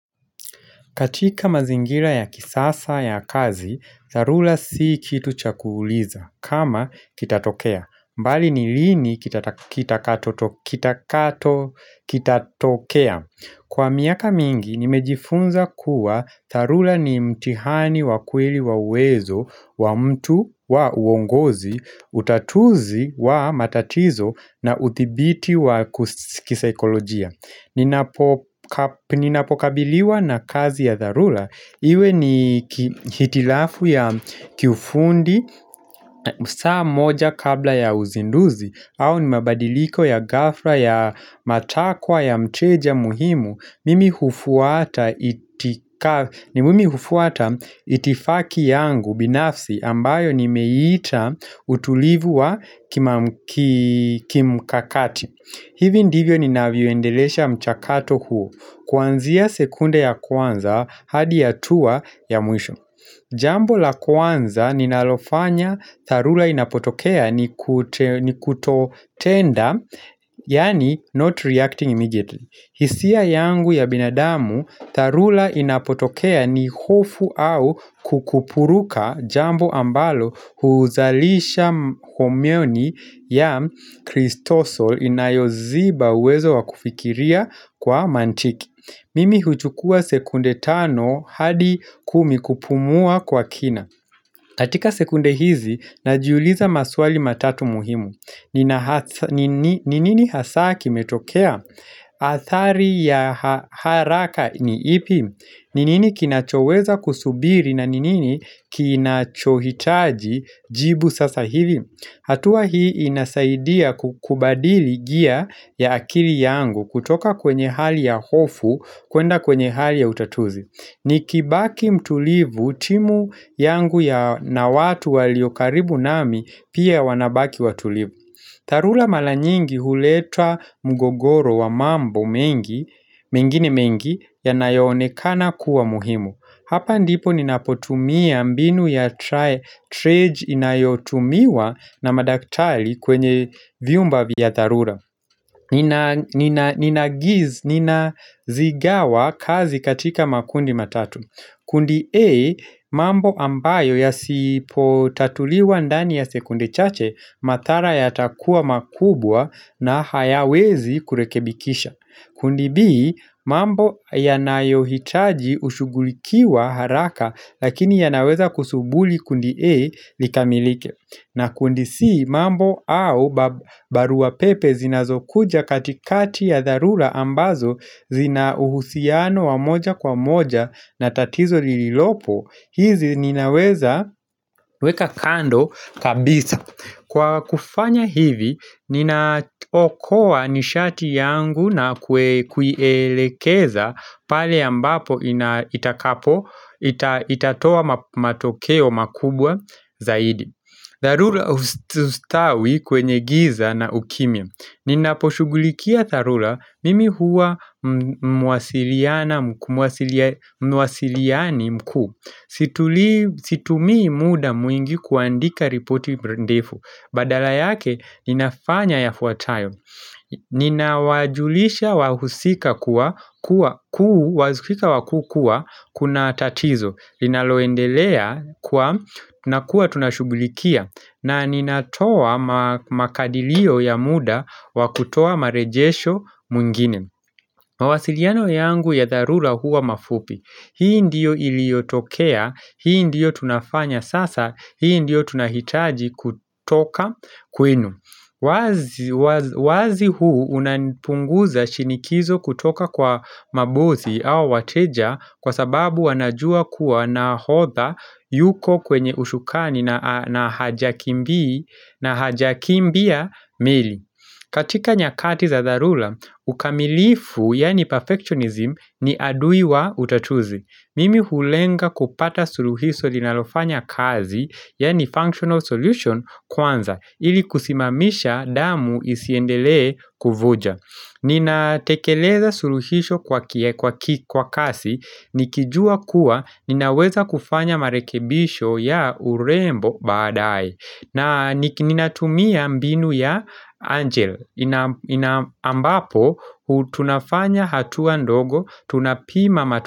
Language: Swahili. Katika mazingira ya kisasa ya kazi, dharura si kitu cha kuuliza, kama kitatokea. Bali ni lini kitakachotokea. Kwa miaka mingi, nimejifunza kuwa dharura ni mtihani wa kweli wa uwezo, wa mtu wa uongozi, utatuzi wa matatizo na uthibiti wa kisaikolojia. Ninapokabiliwa na kazi ya dharura Iwe ni hitilafu ya kiufundi saa moja kabla ya uzinduzi au ni mabadiliko ya ghafla ya matakwa ya mteja muhimu Mimi hufuata hufuata itifaki yangu binafsi ambayo nimeita utulivu wa kimkakati hivi ndivyo ninavyuendelesha mchakato huo, kuanzia sekunde ya kwanza hadi hatua ya mwisho. Jambo la kwanza ninalofanya dharura inapotokea ni kutotenda, yani not reacting immediately. Hisia yangu ya binadamu, dharura inapotokea ni hofu au kukupuruka jambo ambalo huzalisha homioni ya kristosol inayo ziba uwezo wa kufikiria kwa mantiki. Mimi huchukua sekunde tano hadi kumi kupumua kwa kina. Katika sekunde hizi, najiuliza maswali matatu muhimu. Ni nini hasa kimetokea? Athari ya haraka ni ipi? Ni nini kinachoweza kusubiri na ni nini kinachohitaji jibu sasa hivi? Hatua hii inasaidia kubadili gia ya akili yangu kutoka kwenye hali ya hofu kuenda kwenye hali ya utatuzi Nikibaki mtulivu timu yangu na watu waliokaribu nami pia wanabaki watulivu dharura mara nyingi huletwa mgogoro wa mambo mingine mengi, yanayoonekana kuwa muhimu. Hapa ndipo ninapotumia mbinu ya trae trej inayotumiwa na madaktali kwenye vyumba vya dharura. Ninazigawa kazi katika makundi matatu. Kundi A, mambo ambayo yasipotatuliwa ndani ya sekunde chache, madhara yatakua makubwa na hayawezi kurekebikisha. Kundi B, mambo yanayohitaji ushughulikiwa haraka lakini yanaweza kusubiri kundi A likamilike. Na kundi C mambo au baruapepe zinazokuja katikati ya dharura ambazo zina uhusiano wa moja kwa moja na tatizo lililopo. Hizi ninaweza weka kando kabisa Kwa kufanya hivi ninaokoa nishati yangu na kuielekeza pale ambapo itatoa matokeo makubwa zaidi dharula hustawi kwenye giza na ukimya. Ninaposhughulikia dharura mimi huwa muwasiliani mku Situmi muda mwingi kuandika ripoti mdefu Badala yake inafanya yafuatayo Nina wajulisha wahusika wakuu kuwa kunatatizo Linaloendelea na kuwa tunashughulikia na ninatoa makadilio ya muda wa kutoa marejesho mengine mawasiliano yangu ya dharura huwa mafupi Hii ndiyo iliotokea, hii ndiyo tunafanya sasa, hii ndiyo tunahitaji kutoka kwenu wazi huu unapunguza shinikizo kutoka kwa mabosi au wateja kwa sababu wanajua kuwa nahodha yuko kwenye ushukani na hajakimbii hajakimbia mili katika nyakati za dharura, ukamilifu yani perfectionism ni adui wa utatuzi Mimi hulenga kupata suluhiso linalofanya kazi, yani functional solution kwanza, ili kusimamisha damu isiendelee kuvuja. Ninatekeleza suluhiso kwa kasi, nikijua kuwa ninaweza kufanya marekebisho ya urembo badae. Na ninatumia mbinu ya angel ambapo, tunafanya hatua ndogo, tunapima matumia.